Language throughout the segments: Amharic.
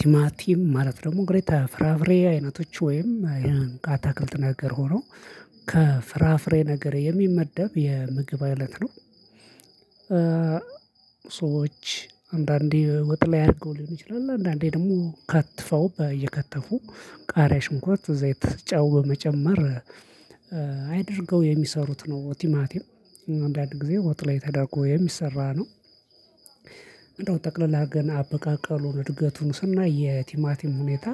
ቲማቲም ማለት ደግሞ እንግዲ ከፍራፍሬ አይነቶች ወይም አይነት አታክልት ተናገር ሆኖ ከፍራፍሬ ነገር የሚመደብ የምግብ አይነት ነው። ሰዎች አንዳንዴ ወጥ ላይ ያደርገው ሊሆን ይችላል። አንዳንዴ ደግሞ ከትፈው እየከተፉ ቃሪያ ሽንኩርት ዘይት ጨው በመጨመር። አድርገው የሚሰሩት ነው። ቲማቲም አንዳንድ ጊዜ ወጥ ላይ ተደርጎ የሚሰራ ነው። እንደው ጠቅለል አድርገና አበቃቀሉን እድገቱን ስናይ የቲማቲም ሁኔታ።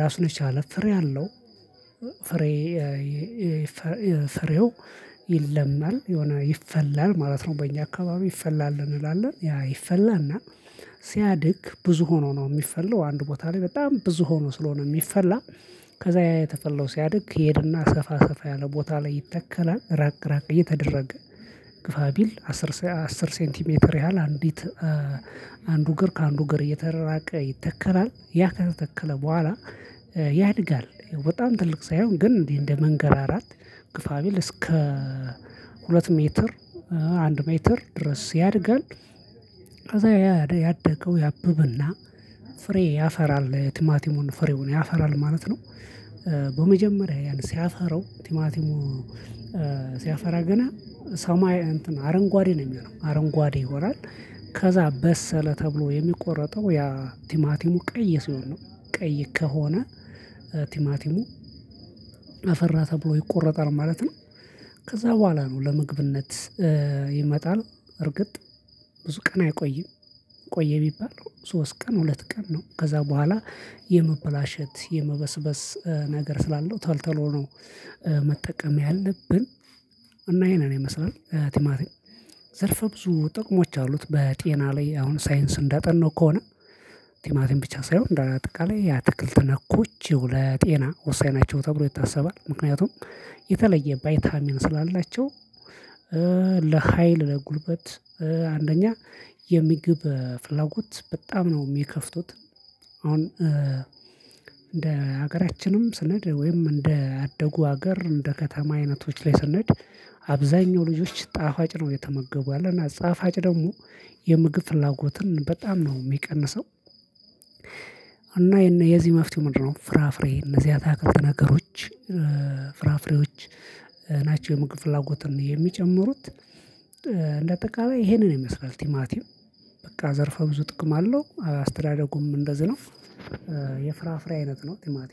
ራሱን የቻለ ፍሬ አለው። ፍሬ ፍሬው ይለማል የሆነ ይፈላል ማለት ነው። በእኛ አካባቢ ይፈላል እንላለን ያ ይፈላና። ሲያድግ ብዙ ሆኖ ነው የሚፈለው አንድ ቦታ ላይ በጣም ብዙ ሆኖ ስለሆነ የሚፈላ። ከዛ ያየ ተፈለው ሲያድግ ሄድና ሰፋ ሰፋ ያለ ቦታ ላይ ይተከላል ራቅ ራቅ እየተደረገ። ግፋ ቢል አስር አስር ሴንቲሜትር ያህል አንዲት አንዱ እግር ከአንዱ እግር እየተራራቀ ይተከራል ያ ከተተከለ በኋላ። ያድጋል በጣም ትልቅ ሳይሆን ግን እንደ መንገርአራት ግፋ ቢል እስከ ሁለት ሜትር አንድ ሜትር ድረስ ያድጋል። ከዛ ያደገው ያብብና ፍሬ ያፈራል ቲማቲሙን ፍሬውን ያፈራል ማለት ነው። በመጀመሪያ ያን ሲያፈራው ቲማቲሙ ሲያፈራ ገና ሰማይ አረንጓዴ ነው የሚሆነው አረንጓዴ ይሆናል። ከዛ በሰለ ተብሎ የሚቆረጠው ያ ቲማቲሙ ቀይ ሲሆን ነው። ቀይ ከሆነ ቲማቲሙ አፈራ ተብሎ ይቆረጣል ማለት ነው። ከዛ በኋላ ነው ለምግብነት ይመጣል። እርግጥ ብዙ ቀን አይቆይም። ቆየ ቢባል ሶስት ቀን ሁለት ቀን ነው ከዛ በኋላ የመበላሸት የመበስበስ ነገር ስላለው ቶሎቶሎ ነው። መጠቀም ያለብን። እና ይሄንን ይመስላል ቲማቲም ዘርፈ ብዙ ጥቅሞች አሉት። በጤና ላይ አሁን ሳይንስ እንዳጠናው ከሆነ። ቲማቲም ብቻ ሳይሆን እንደው አጠቃላይ ያ ትክልት ነኮች ለጤና ወሳኝ ናቸው ተብሎ ይታሰባል። ምክንያቱም የተለየ ባይታሚን ስላላቸው። ለሀይል ለጉልበት አንደኛ የምግብ ፍላጎት በጣም ነው የሚከፍቱት። አሁን እንደ ሀገራችንም ስንሄድ ወይም እንደ አደጉ ሀገር እንደ ከተማ አይነቶች ላይ ስንሄድ። አብዛኛው ልጆች ጣፋጭ ነው እየተመገቡ ያለና ጣፋጭ ደግሞ የምግብ ፍላጎትን በጣም ነው የሚቀንሰው። እና የዚህ መፍትሄ ምንድነው? ፍራፍሬ እነዚህ አታክልት ነገሮች ፍራፍሬዎች ናቸው የምግብ ፍላጎትን የሚጨምሩት። እንደ አጠቃላይ ይሄንን ይመስላል ቲማቲም በቃ ዘርፈ ብዙ ጥቅም አለው። አስተዳደጉም እንደዚህ ነው። የፍራፍሬ አይነት ነው ቲማቲም